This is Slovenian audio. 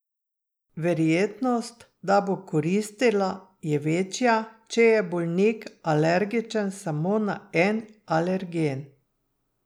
Verjetnost, da bo koristila, je večja, če je bolnik alergičen samo na en alergen.